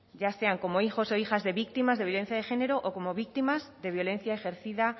ya sean como hijos o hijas de víctimas de violencia de género o como víctimas de violencia ejercida